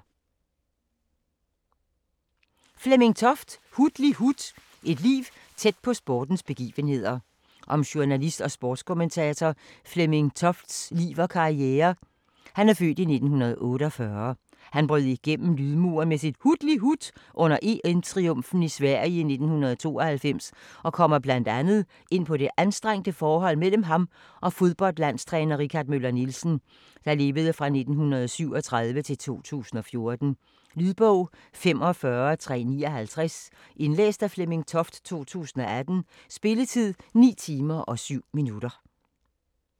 Toft, Flemming: Hutlihut: et liv tæt på sportens begivenheder Om journalist og sportskommentator Flemming Tofts (f. 1948) liv og karriere. Han brød igennem lydmuren med sit "hutlihut" under EM-triumfen i Sverige i 1992, og kommer bl.a. ind på det anstrengte forhold mellem ham og fodboldlandstræner Richard Møller Nielsen (1937-2014). Lydbog 45359 Indlæst af Flemming Toft, 2018. Spilletid: 9 timer, 7 minutter.